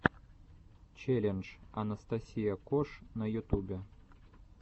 челлендж анастасия кош на ютубе